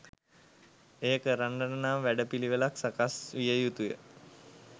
එය කරන්නට නම් වැඩ පිළිවෙළක් සකස් විය යුතුය.